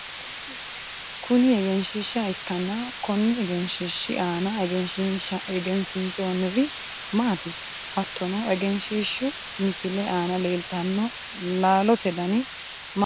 kuni egenshiishsha ikkanna konni egenshiishshi aana egensiinsoonniri maati? hattono egenshiishshu misile aana leeltanno laalote dani mayiinna mayi leellanni no ?